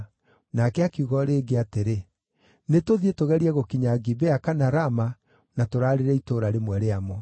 Nake akiuga o rĩngĩ atĩrĩ, “Nĩtũthiĩ tũgerie gũkinya Gibea kana Rama na tũrarĩrĩre itũũra rĩmwe rĩamo.”